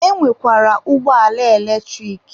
E nwekwara ụgbọala eletrik.